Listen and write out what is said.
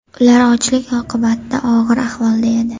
Ular ochlik oqibatida og‘ir ahvolda edi.